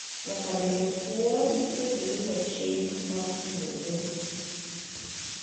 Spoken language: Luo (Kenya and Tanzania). Nyaka bende pwodh ni giluuo chik mar pwodho